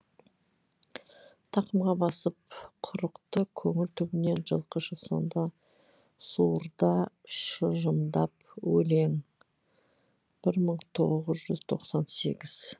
тақымға басып құрықты көңіл түбінен жылқышы сонда суырда шыжымдап өлең бір мың тоғыз жүз сенскен сегіз